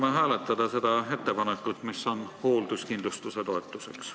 Palume hääletada seda ettepanekut, mis on hoolduskindlustuse toetuseks.